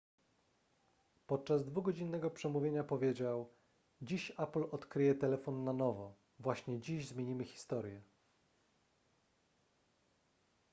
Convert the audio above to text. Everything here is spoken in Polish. podczas dwugodzinnego przemówienia powiedział dziś apple odkryje telefon na nowo właśnie dziś zmienimy historię